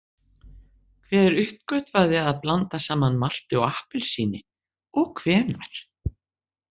Hver uppgötvaði að blanda saman malti og appelsíni og hvenær?